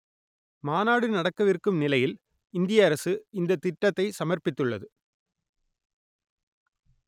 மாநாடு நடக்கவிருக்கும் நிலையில் இந்திய அரசு இந்த திட்டத்தை சமர்ப்பித்துள்ளது